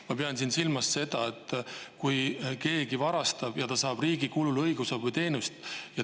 Ma pean siin silmas seda, et kui keegi varastab ja ta saab riigi kulul õigusabiteenust.